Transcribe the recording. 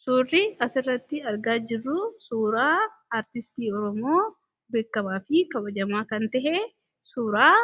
suurri asirratti argaa jirru suuraa aartistii oromoo beekkamaa fi kawajamaa kan tahe suuraa